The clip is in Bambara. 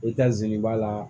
I ka ziri b'a la